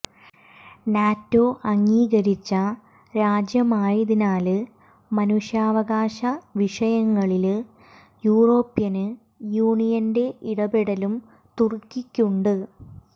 NATO അംഗീകരിച്ച രാജ്യമായതിനാല് മനുഷ്യാവകാശ വിഷയങ്ങളില് യൂറോപ്യന് യൂണിയന്റെ ഇടപെടലും തുര്ക്കിക്കുണ്ട്